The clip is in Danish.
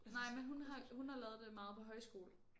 Nej men hun har hun har lavet det meget på højskole